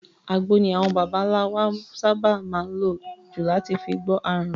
Àgbo ni àwọn babańlá baba wa sábà má n lò jù láti fi gbọ́ àrùn.